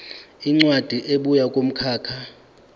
incwadi ebuya kumkhakha